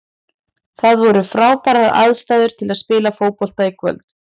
Það voru frábærar aðstæður til að spila fótbolta í kvöld.